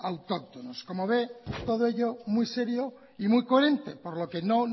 autóctonos como ve todo ello muy serio y muy coherente por lo que no